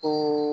O